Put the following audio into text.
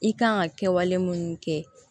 I kan ka kɛwale minnu kɛ